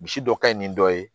Misi dɔ kaɲi ni dɔ ye